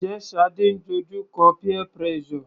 Njẹ́ Shade ń dojú kọ peer pressure?